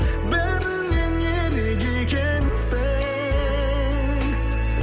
бәрінен ерек екенсің